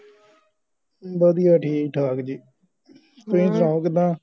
ਵਧਿਆ ਠੀਕ ਠਾਕ ਜੀ. ਤੁਸੀਂ ਸੁਣਾਓ ਕਿਦਾਂ